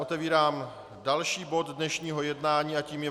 Otevírám další bod dnešního jednání a tím je